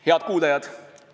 Head kuulajad!